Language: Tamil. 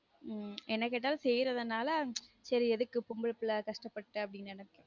உம் என்ன கேட்டாலும் செய்யுரதுனால சேரி எதுக்கு பொம்பள பிள்ள கஷ்டப்பட்டு ப்டினு நெனைக்கும்